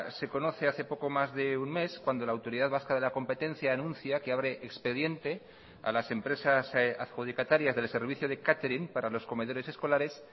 se conoce hace poco más de un mes cuando la autoridad vasca de la competencia anuncia que abre expediente a las empresas adjudicatarias del servicio de catering para los comedores escolares